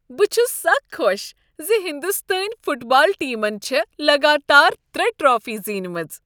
بہٕ چھس سَخ خۄش زِ ہندوستٲنۍ فٹ بال ٹیمن چھےٚ لگاتار ترٛے ٹرٛافی زینِمژٕ